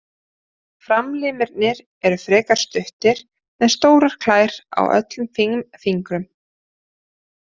Framlimirnir eru frekar stuttir með stórar klær á öllum fimm fingrum.